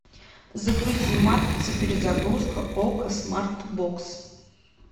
загрузи матрица перезагрузка окко смарт бокс